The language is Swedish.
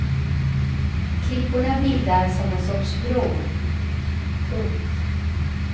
Klipporna bildar som en sorts bro. punkt